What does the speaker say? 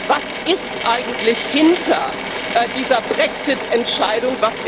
Was ist eigentlich hinter dieser Brexit Entscheidung?